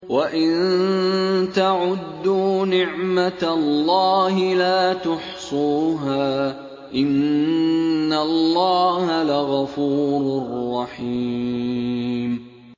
وَإِن تَعُدُّوا نِعْمَةَ اللَّهِ لَا تُحْصُوهَا ۗ إِنَّ اللَّهَ لَغَفُورٌ رَّحِيمٌ